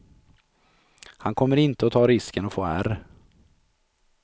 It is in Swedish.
Han kommer inte att ta risken att få ärr.